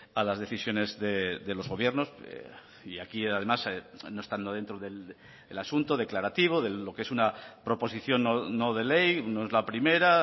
a las decisiones de los gobiernos y aquí además no estando dentro del asunto declarativo de lo que es una proposición no de ley no es la primera